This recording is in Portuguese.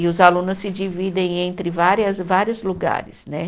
E os alunos se dividem entre várias, vários lugares, né?